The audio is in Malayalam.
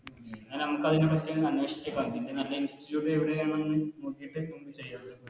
ഉം പിന്നെ നമുക്കതിനെ പറ്റി അന്വേഷിച്ച് ഇതിൻറെ നല്ല Institute എവിടെയാണെന്ന് നോക്കിട്ട് നമുക്ക് ചെയ്യാം